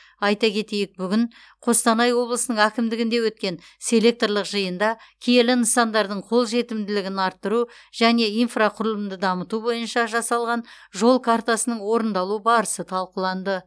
айта кетейік бүгін қостанай облысының әкімдігінде өткен селекторлық жиында киелі нысандардың қолжетімділігін арттыру және инфрақұрылымды дамыту бойынша жасалған жол картасының орындалу барысы талқыланды